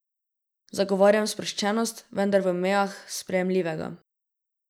Zagovarjam sproščenost, vendar v mejah sprejemljivega.